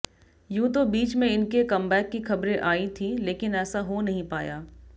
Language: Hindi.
यूं तो बीच में इनके कमबैक की खबरें आईं थीं लेकिन ऐसा हो नहीं पाया